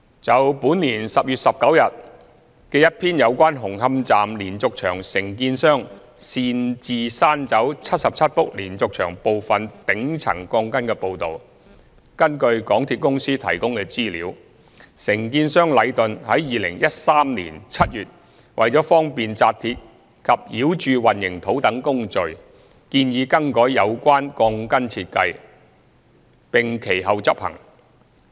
就本年10月19日一篇有關紅磡站連續牆承建商擅自刪走77幅連續牆部分頂層鋼筋的報道，根據港鐵公司提供的資料，承建商禮頓於2013年7月為了方便扎鐵及澆注混凝土等工序，建議更改有關鋼筋設計，並其後執行。